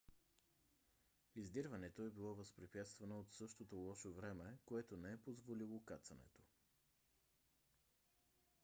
издирването е било възпрепятствано от същото лошо време което не е позволило кацането